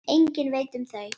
Enginn veit um þau.